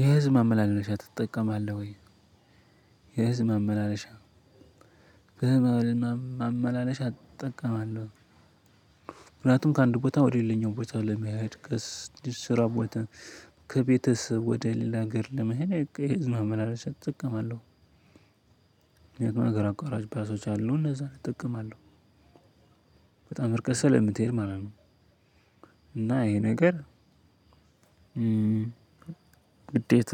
የህዝብ ማመላለሻ ትጠቀማለህ ወይ? የህዝብ ማመላለሻ የህዝብ ማመላለሻ እጠቀማለሁ ምክንያቱም ከአንድ ቦታ ወደሌለኛው ቦታ ለመሄድ ከስራ ቦታ ከቤተሰብ ወደ ሌላ ሀገር ለመሄድ የህዝብ ማመላለሻ እጠቀማለሁ። ሀገር አቋራጭ ባሶች አሉ። እነዛን እጠቀማለሁ። እና ይሄ ነገር ግዴታ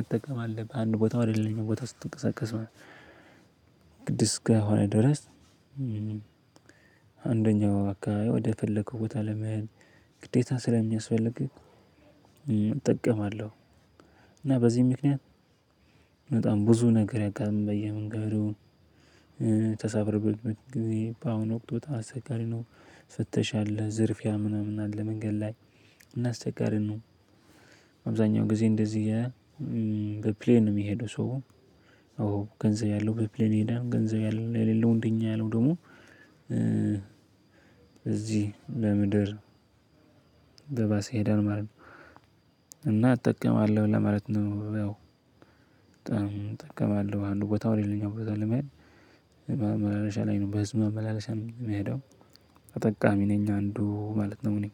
እጠቀማለሁ ከአንድ ቦታ ወደ ሌላኘው ቦታ ስትቀሰቀስ ግድ እስከ ሆነ ድረስ። ከአንደኛው አካባቢ ወደ ፈለከው ቦታ ለመሄድ ግዴታ ስለሚያስፈልግህ እጠቀማለሁ። እና በዚህ ምክንያት በጣም ብዙ ነገር ያጋጥመኛል። በየመንገዱን ተሳፍረን በምንሄድበት ጊዜ በአሁኑ ወቅት በጣም አስቸጋሪ ነው። ፍተሻ አለ ዝርፊያ ምናምን አለ መንገድ ላይ እናስቸጋሪ ነው። አብዛኛው ጊዜ እንደዚህ በፕሌን ነው የሚሄደው ሰው። ገንዘብ ያለው በፕሌን ይሄደል ገንዘብ የሌለው እንደ እኛ ያለው ደግሞ እዚህ በምድር በባስ ይሄደል ማለት ነው። እና እጠቀማለሁ ለማለት ነው። ያው በጣም እጠቀማለሁ ከአንዱ ቦታ ወደ ሌላኘው ቦታ ለመሄድ በህዝብ ማመላለሻ ላይ ነው በህዝብ መመላለሻ ነው የምሄደው። ተጠቃሚ ነኝ አንዱ ማለት ነው። እንግዲህ